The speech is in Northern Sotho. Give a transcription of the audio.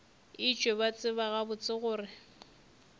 etšwe ba tseba gabotse gore